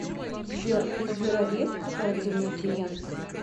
сбер у сбера есть корпоративные клиенты